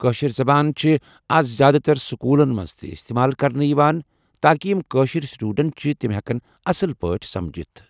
کٲشِر زَبان چھِ آز زیادٕ تر سکوٗلن منٛز تہِ اِستعمال کرنہٕ یِوان تاکہِ یِم کٲشِر سٹوٗڈنٹ چھِ تِم ہٮ۪کن اَصٕل پٲٹھۍ سَمجتھ